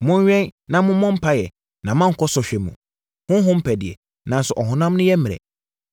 Monwɛn na mommɔ mpaeɛ, na moankɔ sɔhwɛ mu. Honhom pɛ deɛ, nanso ɔhonam yɛ mmerɛ!”